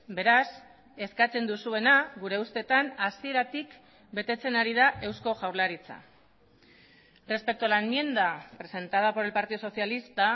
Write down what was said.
beraz eskatzen duzuena gure ustetan hasieratik betetzen ari da eusko jaurlaritza respecto a la enmienda presentada por el partido socialista